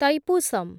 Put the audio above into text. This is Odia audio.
ତୈପୁସମ୍